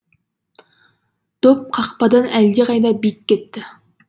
доп қақпадан әлдеқайда биік кетті